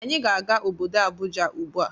Anyị na-aga obodo Abuja ugbua.